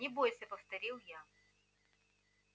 не бойся повторил я